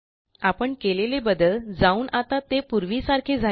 आपण केलेले बदल जाऊन आता ते पूर्वीसारखे झाले आहे